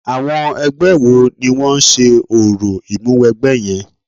Àwọn ẹgbẹ́ wo ni wọ́n ń ṣe orò Ìmúwẹgbẹ́ yẹn?